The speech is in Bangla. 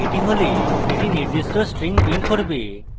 এটি হলে এটি নির্দিষ্ট string print করবে